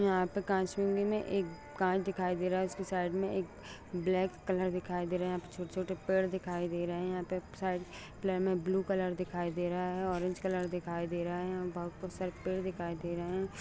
यहाँ पे कांच में एक कांच दिखाई देखे दे रहा है। उसके साइड में एक ब्लैक कलर दिखाई दे रहा है। यहाँ पे छोटे छोटे पेड़ दिखाई दे रहे हैं। यहाँ पे साइड प्ले में ब्लू कलर दिखाई दे रहा है। ऑरेंज कलर दिखाई दे रहा है। यहाँ बहुत खूब सारे पेड़ दिखाई दे रहे हैं।